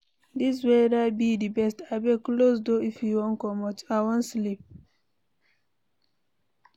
Dis weather be the best. Abeg close door if you wan comot, I wan sleep.